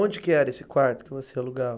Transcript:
Onde que era esse quarto que você alugava?